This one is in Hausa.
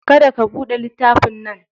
Kada ka buɗe littafin nan.